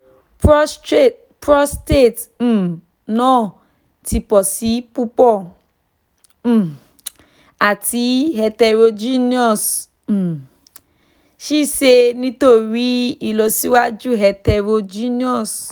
prostate um naa ti pọ si pupọ um ati heterogeneous um ṣee ṣe nitori ilọsiwaju heterogeneous